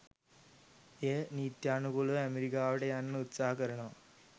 එයා නිත්‍යානුකුලව ඇමරිකාවට යන්න උත්සහ කරනවා